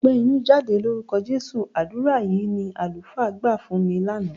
"Ọgbẹ́ inú, jáde lórúkọ Jésù!" Àdúrà yìí ni àlùfáà gbà fún mi lánàá.